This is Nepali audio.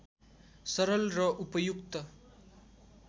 सरल र उपयुक्त